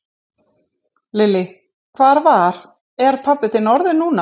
Lillý: Hvað var, er pabbi þinn orðinn núna?